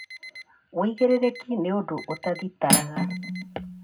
Wĩigĩrĩrĩki nĩ ũndũ ũtathitaraga